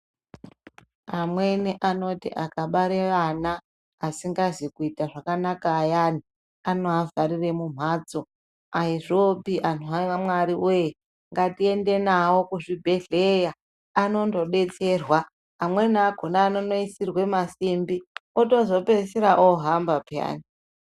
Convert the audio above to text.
Amweni anoti akabare vana asingazi kuita zvakanaka ayani anozvharire mumhatso. Ayizvopi anhu aMwari woye, ngatiende navo kuzvibhedhleya anondodetserwa. Amweni akona anondoisirwa masimbi otozopedzisira ohamba peyani.